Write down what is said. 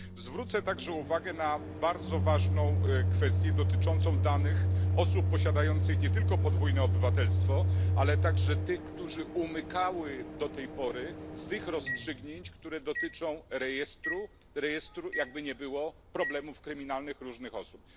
Zwrócę także uwagę na bardzo ważną kwestię dotyczącą danych osób posiadających nie tylko podwójne obywatelstwo, ale także tych, które umykały do tej pory z tych rozstrzygnięć, które dotyczą rejestru rejestru, jakby nie było, problemów kryminalnych różnych osób.